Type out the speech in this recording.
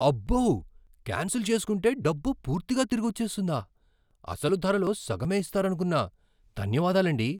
అబ్బో! కాన్సిల్ చేసుకుంటే డబ్బు పూర్తిగా తిరిగొచ్చేస్తుందా, అసలు ధరలో సగమే ఇస్తారనుకున్నా. ధన్యవాదాలండీ